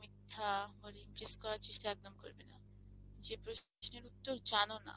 মিথ্যা, impress করার চেষ্টা একদম করবে না; যে প্রশ্নের উত্তর জানো না,